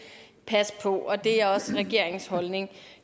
passe på og det er også regeringens holdning